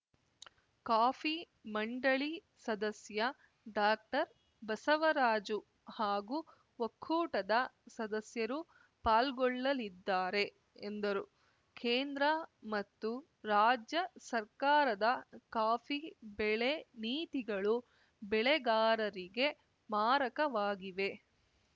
coffee ಮಂಡಳಿ ಸದಸ್ಯ ಡಾಕ್ಟರ್ಬಸವರಾಜು ಹಾಗೂ ಒಕ್ಕೂಟದ ಸದಸ್ಯರು ಪಾಲ್ಗೊಳ್ಳಲಿದ್ದಾರೆ ಎಂದರು ಕೇಂದ್ರ ಮತ್ತು ರಾಜ್ಯ ಸರ್ಕಾರದ ಕಾಫಿ ಬೆಳೆ ನೀತಿಗಳು ಬೆಳೆಗಾರರಿಗೆ ಮಾರಕವಾಗಿವೆ